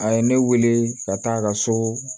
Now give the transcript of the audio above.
A ye ne wele ka taa a ka so